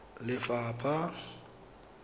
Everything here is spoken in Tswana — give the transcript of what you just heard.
lefapha